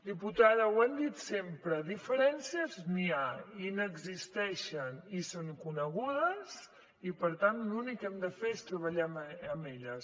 diputada ho hem dit sempre de diferències n’hi ha i n’existeixen i són conegudes i per tant l’únic que hem de fer és treballar amb elles